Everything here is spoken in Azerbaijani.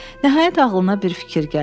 Nəhayət, ağlına bir fikir gəldi.